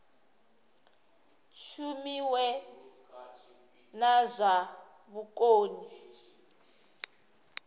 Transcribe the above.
shumiwe na zwa vhukoni ha